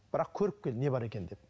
бірақ көріп кел не бар екенін деп